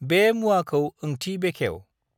बे मुवाखौ ओंथि बेखेव्